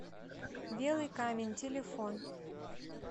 белый камень телефон